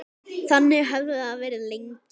Þannig hafði það verið lengi.